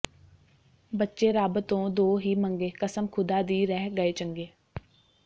ਬੱਚੇ ਰੱਬ ਤੋਂ ਦੋ ਹੀ ਮੰਗੇ ਕਸਮ ਖੁਦਾ ਦੀ ਰਹਿ ਗਏ ਚੰਗੇ